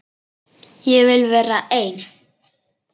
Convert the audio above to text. Ég vil vera einn.